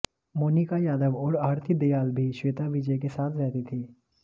मोनिका यादव और आरती दयाल भी श्वेता विजय के साथ रहती थी